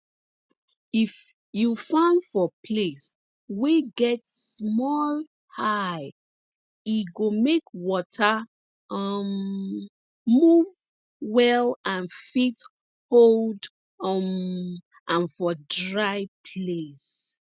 if you farm for place wey get small high e go make water um move well and fit hold um am for dry place